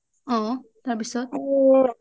অ তাৰপিছত